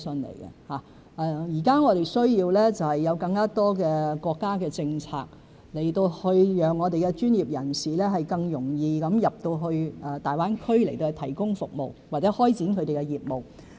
現時我們需要更多國家政策讓專業人士更容易進入大灣區提供服務，或開展他們的業務。